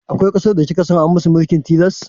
Akwai ƙasar da kika san an musu mulkin tilas?